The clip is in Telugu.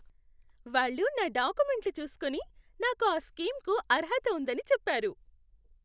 వాళ్ళు నా డాక్యుమెంట్లు చూసుకొని, నాకు ఆ స్కీమ్కు అర్హత ఉందని చెప్పారు.